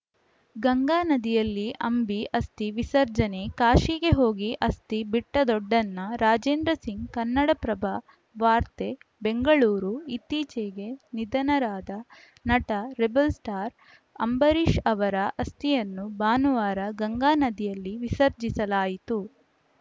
ಗಂಗಾ ನದಿಯಲ್ಲಿ ಅಂಬಿ ಅಸ್ಥಿ ವಿಸರ್ಜನೆ ಕಾಶಿಗೆ ಹೋಗಿ ಅಸ್ಥಿ ಬಿಟ್ಟದೊಡ್ಡಣ್ಣ ರಾಜೇಂದ್ರ ಸಿಂಗ್‌ ಕನ್ನಡಪ್ರಭ ವಾರ್ತೆ ಬೆಂಗಳೂರು ಇತ್ತಿಚೆಗೆ ನಿಧನರಾದ ನಟ ರೆಬೆಲ್‌ ಸ್ಟಾರ್‌ ಅಂಬರೀಷ್‌ ಅವರ ಅಸ್ಥಿಯನ್ನು ಭಾನುವಾರ ಗಂಗಾ ನದಿಯಲ್ಲಿ ವಿಸರ್ಜಿಸಲಾಯಿತು